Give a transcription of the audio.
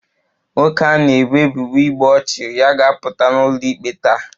Nwoke a na-ebo ebubo igbu ọchụ ya ga-apụta n'ụlọikpe taa